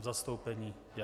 V zastoupení - já.